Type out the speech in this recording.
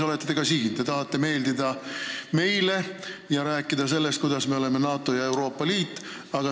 Te tahate meeldida meile ja rääkida sellest, kuidas me oleme NATO-s ja Euroopa Liidus.